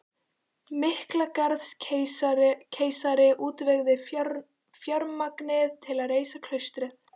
Miklagarðskeisari útvegaði fjármagnið til að reisa klaustrið